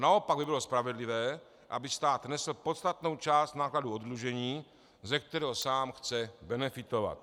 Naopak by bylo spravedlivé, aby stát nesl podstatnou část nákladů oddlužení, ze kterého sám chce benefitovat.